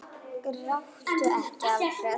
Gráttu ekki, Alfreð!